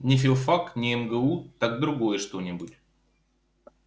не филфак не мгу так другое что-нибудь